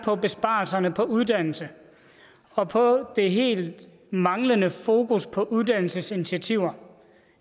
om besparelserne på uddannelse og på det helt manglende fokus på uddannelsesinitiativer